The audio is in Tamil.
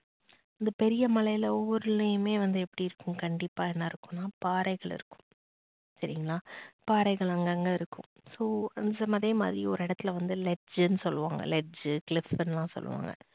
அந்தப் பெரிய மலையில் ஒவ்வொருளையுமே வந்து எப்படி இருக்கும் கண்டிப்பா என்னா இருக்கும்னா பாறைகள் இருக்கும் சரிங்களா பாறைகள் அங்கங்க இருக்கும் அதே மாதிரி ஒரு இடத்துல வந்து ledge ன்னு சொல்லுவாங்க ledge clif னுலாம் சொல்லுவாங்க